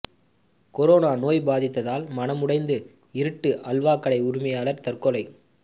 corona நோய் பாதித்ததால் மனமுடைந்து இருட்டு அல்வாக் கடை உரிமையாளர் தற்கொலை